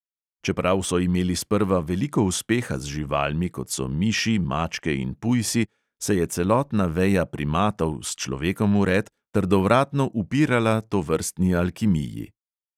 Čeprav so imeli sprva veliko uspeha z živalmi, kot so miši, mačke in pujsi, se je celotna veja primatov, s človekom vred, trdovratno upirala tovrstni alkimiji.